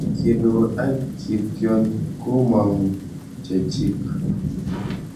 Inkinur ak kitiony komong'u chekyik.